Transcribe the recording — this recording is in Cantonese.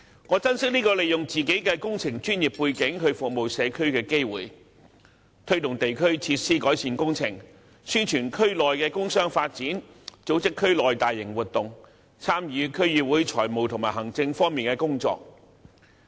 我珍惜這個讓我可以利用自己的工程專業背景服務社區的機會，推動地區設施改善工程，宣傳區內工商發展，組織區內大型活動，參與區議會財務和行政方面的工作。